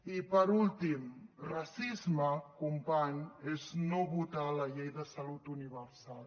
i per últim racisme company és no votar la llei de salut universal